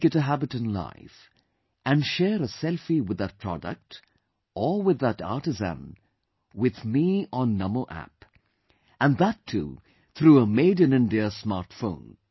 Make it a habit in life, and share a selfie with that product, or with that artisan, with me on Namo App and that too through a made in India smartphone